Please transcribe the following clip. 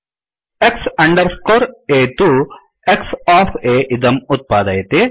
X underscore A तु X of A इदम् उत्पादयति